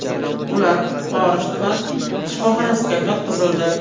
Ular Forish tuman shifoxonasiga yotqizildi.